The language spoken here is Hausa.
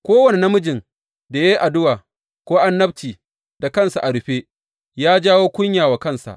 Kowane namijin da ya yi addu’a ko annabci da kansa a rufe ya jawo kunya wa kansa.